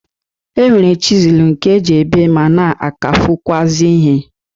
E nwere chizulu nke e ji ebe ma na-akavụkwụazị ihe.